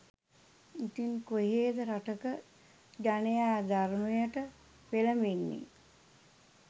ඉතින් කොහේද රටක ජනයා ධර්මයට පෙලඹන්නේ